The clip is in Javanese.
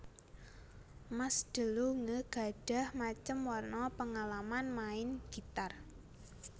Mas DeLonge gadhah macem warna péngalaman main gitar